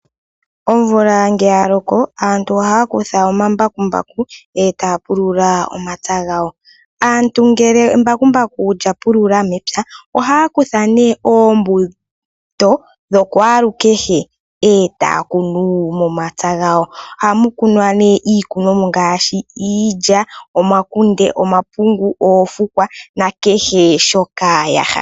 Omvula ngele yaloko aantu ohaya kutha omambakumbaku etaya pulula omapya gawo. Aantu ngele embakumbaku lyapulula mepya ohaya kutha nee oombuto dhakwaalukehe etaya kuna momapya gawo. Ohamu kunwa nee iikunomwa ngaashi iilya, omakunde, omapungu, oofukwa nakehe shoka yahala.